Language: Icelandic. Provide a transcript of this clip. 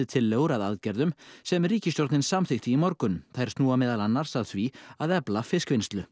tillögur að aðgerðum sem ríkisstjórnin samþykkti í morgun þær snúa meðal annars að því að efla fiskvinnslu